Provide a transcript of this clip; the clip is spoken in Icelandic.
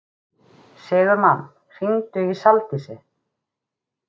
Sigurmann, hringdu í Saldísi.